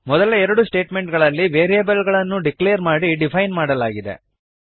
ಮೊದಲ ಎರಡು ಸ್ಟೇಟ್ಮೆಂಟ್ ಗಳಲ್ಲಿ ವೇರಿಯೇಬಲ್ ಗಳನ್ನು ಡಿಕ್ಲೇರ್ ಮಾಡಿ ಡಿಫೈನ್ ಮಾಡಲಾಗಿದೆ